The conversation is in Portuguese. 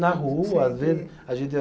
Na rua, às vezes. A gente